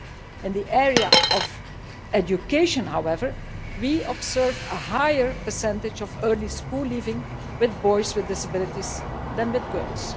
In the area of education, however, we observe a higher percentage of early school leaving with boys with disabilities than with girls.